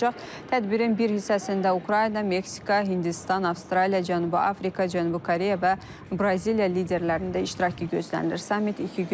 Tədbirin bir hissəsində Ukrayna, Meksika, Hindistan, Avstraliya, Cənubi Afrika, Cənubi Koreya və Braziliya liderlərinin də iştirakı gözlənilir.